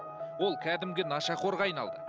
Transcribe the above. ол кәдімгі нашақорға айналды